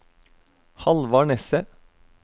Hallvard Nesset